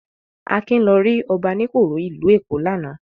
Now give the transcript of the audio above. Akin lọ rí Ọbaníkòró ìlú Èkó lánàá.